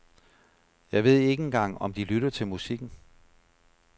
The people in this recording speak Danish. Jeg ved ikke engang om de lytter til musikken.